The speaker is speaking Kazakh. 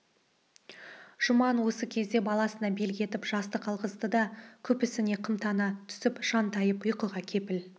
жұман осы кезде баласына белгі етіп жастық алғызды да күпісіне қымтана түсіп жантайып ұйқыға кепіл